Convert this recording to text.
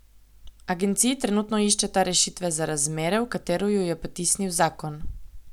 Agenciji trenutno iščeta rešitve za razmere, v katere ju je potisnil zakon.